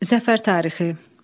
Zəfər tarixi.